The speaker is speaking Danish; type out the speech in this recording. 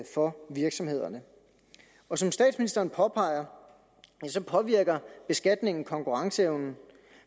for virksomhederne som statsministeren påpeger påvirker beskatningen konkurrenceevnen